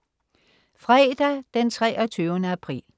Fredag den 23. april